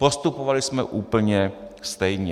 Postupovali jsme úplně stejně.